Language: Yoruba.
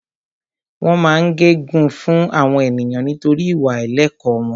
Wọ́n máa ń gẹ gun fún àwọn ènìyàn nítorí ìwà àìlẹ̀kọ́ wọn